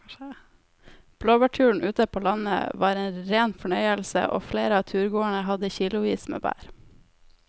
Blåbærturen ute på landet var en rein fornøyelse og flere av turgåerene hadde kilosvis med bær.